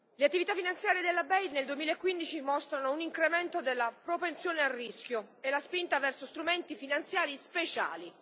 Le attività finanziarie della BEI nel 2015 mostrano un incremento della propensione al rischio e la spinta verso strumenti finanziari speciali.